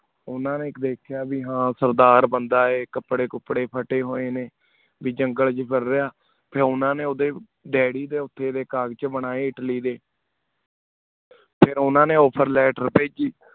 ਓਨਾ ਨੀ ਇਕ ਦਿਕ੍ਯ ਬੀ ਹਨ ਸਰਦਾਰ ਬੰਦਾ ਆਏ ਕਪਰੇ ਕੁਪ੍ਰਾਯ ਪਤੇ ਹੋਏ ਨੀ ਬੀ ਜੰਗਲ ਜਾਨ੍ਗੁਲ ਰਿਹਾ ਫਿਰ ਓਦਾ ਨੀ ਓਦੇ daydi ਦੇ ਓਤੇ ਦੇ collage ਚ ਬਣਾਏ ਇਟਲੀ ਡੀ ਫਿਰ ਓਨਾ ਨੀ offer letter ਪਾਯ੍ਜੀ